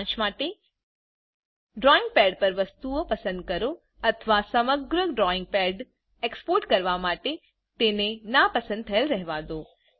સારાંશ માટે drawing pad પર વસ્તુઓ પસંદ કરો અથવાસમગ્ર ડ્રોઈંગ પેડ એક્સપોર્ટ કરવા માટે તેને નાં પસંદ થયેલ રહેવા દો